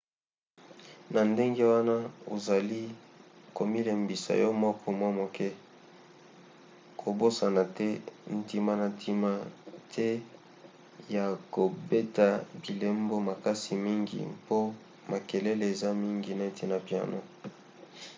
na ndenge wana ozali komilembisa yo moko mwa moke. kobosana te ntina na ntina te ya kobeta bilembo makasi mingi mpo makelele eza mingi neti na piano